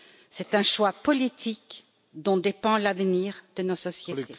C'est un choix politique, dont dépend l'avenir de nos sociétés.